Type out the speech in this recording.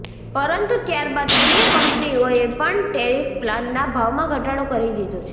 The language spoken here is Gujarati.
પરંતુ ત્યારબાદ અન્ય કંપનીઓએ પણ ટેરિફ પ્લાનના ભાવમાં ઘટાડો કરી દીધો છે